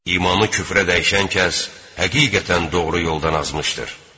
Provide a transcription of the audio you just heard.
İmanı küfrə dəyişən kəs, həqiqətən doğru yoldan azmışdır.